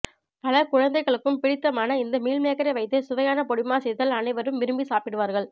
பல குழந்தைகளுக்கும் பிடித்தமான இந்த மீல்மேக்கரை வைத்து சுவையான பொடிமாஸ் செய்தால் அனைவரும் விரும்பி சாப்பிடுவார்கள்